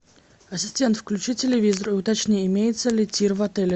ассистент включи телевизор уточни имеется ли тир в отеле